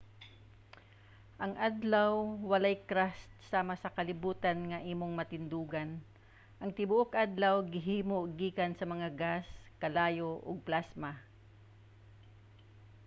ang adlaw walay crust sama sa kalibutan nga imong matindugan. ang tibuok adlaw gihimo gikan sa mga gas kalayo ug plasma